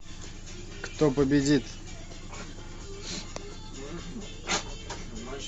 кто победит